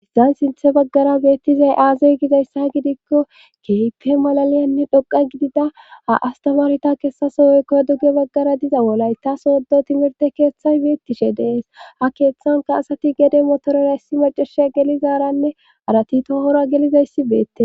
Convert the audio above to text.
hagappe sithe baggara beettizay aaze gizayssa gidikko keehippe malaliyanne xoqqa gidiza ha asatamaareta hessape woyko duge baggara diza wolaytta sodo thimirtte keetay beettishe de7es ha keetankka asati gede motorera issi macashiya gelizaarane haratti qomora gelizayssi beettes.